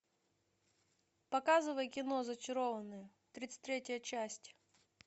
показывай кино зачарованные тридцать третья часть